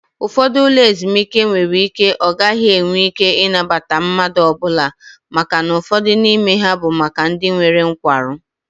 Ụfọdụ ụlọ ezumike nwere ike ọ gaghị enwe ike ịnabata mmadụ ọbụla màkà na ụfọdụ n'ime ha bụ maka ndị nwere nkwarụ